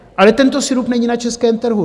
Ale tento sirup není na českém trhu.